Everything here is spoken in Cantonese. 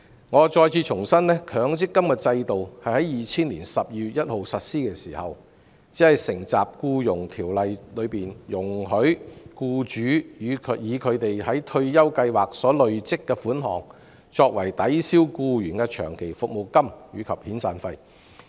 我重申，強積金制度在2000年12月1日實施時，只承襲《僱傭條例》中容許僱主以其在退休計劃所累積的款項，作為抵銷僱員的長期服務金及遣散費的規定。